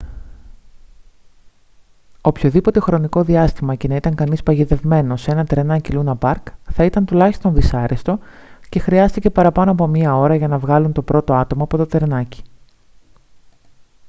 οποιοδήποτε χρονικό διάστημα και να ήταν κανείς παγιδευμένος σε ένα τρενάκι λούνα παρκ θα ήταν τουλάχιστον δυσάρεστο και χρειάστηκε παραπάνω από μία ώρα για να βγάλουν το πρώτο άτομο από το τρενάκι»